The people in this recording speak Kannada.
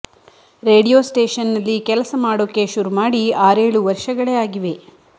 ರೇಡಿಯೊ ಸ್ಟೇಷನ್ನಲ್ಲಿ ಕೆಲಸ ಮಾಡೋಕೆ ಶುರು ಮಾಡಿ ಆರೇಳು ವರ್ಷಗಳೇ ಆಗಿವೆ